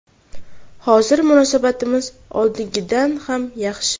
Hozir munosabatimiz oldingidan ham yaxshi.